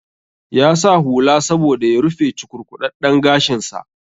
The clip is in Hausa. Ya sa hula saboda ya rufe cukurkuɗaɗɗen gashin sa